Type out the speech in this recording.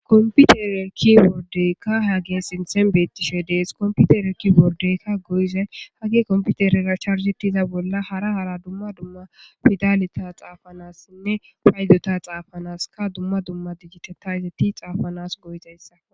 Komputere ki bordeykka ha gee sinthen beettishe dees komputere ki bordeykka goyzay hagge komputerera charsetiza bolla hara hara dumma dumma pidalita xaafanassinne paydota xaafanaska dumma dumma diggiteta izeti xaafanas goyzayssa